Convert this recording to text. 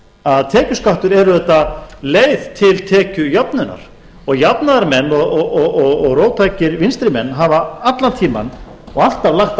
að tekjuskattur er auðvitað leið til tekjujöfnunar og jafnaðarmenn og róttækir vinstri menn hafa allan tímann og alltaf lagt